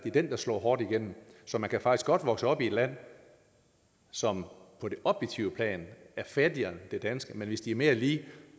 er den der slår hårdt igennem så man kan faktisk godt vokse op i et land som på det objektive plan er fattigere end det danske men hvis befolkningen er mere lige